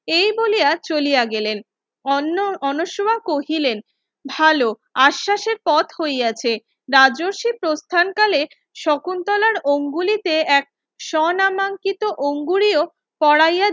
এই বলিয়া চলিয়া গেলেন অন্য অন্যসমা কহিলেন ভালো আসসাসের পথ হইয়াছে রাজস্বী প্রথান কালে শকুন্তলার অঙ্গুলিতে এক সোনামাঙ্কিত অঙ্গুরীয় কোরাইয়া